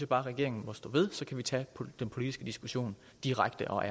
bare regeringen må stå ved så kan vi tage den politiske diskussion direkte og